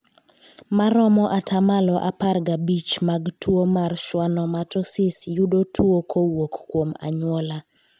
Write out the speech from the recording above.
Maromo atamalo apar gabich mag tuo mar schwannomatosis yudo tuo kowuok kuom anyuola.